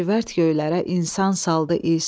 lacivərd göylərə insan saldı iz.